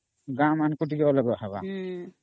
ଗାଁ ମାନଙ୍କରେ ସେଟା ଅଲଗା ହେବା